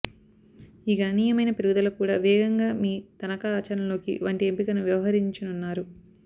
ఈ గణనీయమైన పెరుగుదల కూడా వేగంగా మీ తనఖా ఆచరణలోకి వంటి ఎంపికను వ్యవహరించనున్నారు